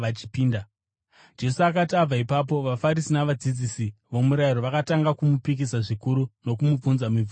Jesu akati abva ipapo, vaFarisi navadzidzisi vomurayiro vakatanga kumupikisa zvikuru nokumubvunza mibvunzo yakawanda,